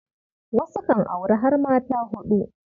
Wasu kan auri har mata huɗu.